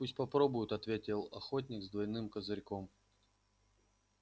пусть попробует ответил охотник с двойным козырьком